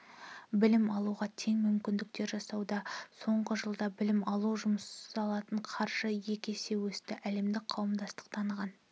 білім алуға тең мүмкіндіктер жасалуда соңғы жылда білім алуға жұмсалатын қаржы есе өсті әлемдік қауымдастық таныған